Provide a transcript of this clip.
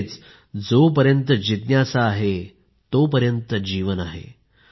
म्हणजेच जोपर्यंत जिज्ञासा आहे तोपर्यंत जीवन आहे